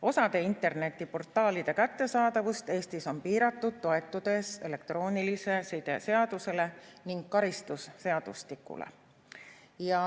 Osa internetiportaalide kättesaadavust Eestis on piiratud, toetudes elektroonilise side seadusele ning karistusseadustikule.